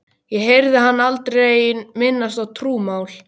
Ég heyrði hann aldrei minnast á trúmál.